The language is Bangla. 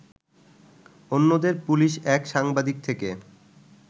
অন্যদের পুলিশ এক সাংবাদিক থেকে